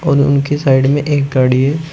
और उनके साइड में एक गाड़ी है।